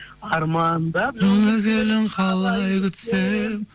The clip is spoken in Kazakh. армандап жыл мезгілін қалай күтсем